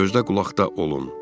Gözlə-qulaqda olun!